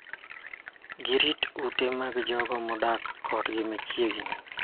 Girit ute mag jok ma odok kodgi machiegni.